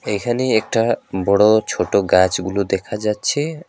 এইখানে একটা বড়ো ছোট গাছগুলো দেখা যাচ্ছে।